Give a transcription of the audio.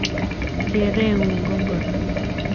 kerengung ko ngoro?